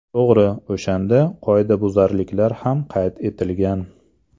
To‘g‘ri, o‘shanda qoidabuzarliklar ham qayd etilgan.